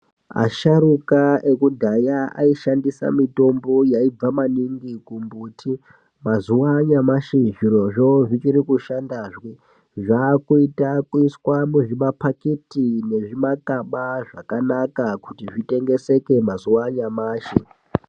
Asharuka ekudhaya aishandisa mitombo yaibva maningi kumbuti mazuwa anyamashi zvirozvo zvichiri kushandazve zvakuita kuiswa muzvimapaketa nezvimakaba zvakanaka kuti zvitengeseke mazuwa anyamashi.